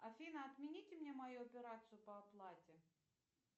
афина отмените мне мою операцию по оплате